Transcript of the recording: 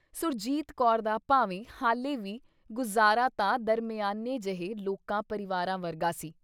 ਸੁਰਜੀਤ ਕੌਰ ਦਾ ਭਾਵੇਂ ਹਾਲੇ ਵੀ ਗੁਜ਼ਾਰਾ ਤਾਂ ਦਰਮਿਆਨੇ ਜਹੇ ਲੋਕਾਂ ਪਰਿਵਾਰਾਂ ਵਰਗਾ ਸੀ।